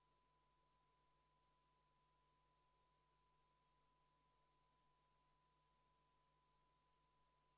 44 Riigikogu liiget Eesti Reformierakonna fraktsioonist, Eesti Konservatiivse Rahvaerakonna fraktsioonist ja Eesti Vabaerakonna fraktsioonist on sellele umbusaldusavaldusele alla kirjutanud.